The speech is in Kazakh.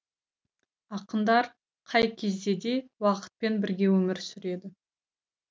ақындар қай кезде де уақытпен бірге өмір сүреді